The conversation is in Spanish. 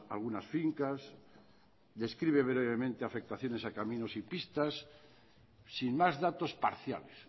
algunas fincas describe brevemente afectaciones a caminos y pistas sin más datos parciales